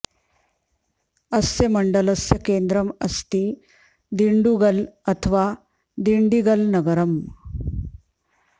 अस्य मण्डलस्य केन्द्रम् अस्ति दिण्डुगल् अथवा दिण्डिगल् नगरम्